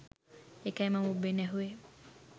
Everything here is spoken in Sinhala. ඒකයි මම ඔබෙන් ඇහුවේ